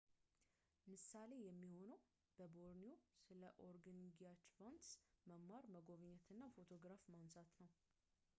ምሳሌ የሚሆነው በቦርኒዮ ስለ ኦርግንጊያችቫንስ መማር መጎብኘት እና ፎቶግራፍ ማንሳት ነው